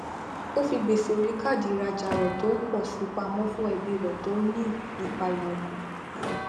ó fi gbèsè orí káàdì ìrajà rẹ tó ń po si pamọ fún ẹbí rẹ tó ń ní ìpayà ọkàn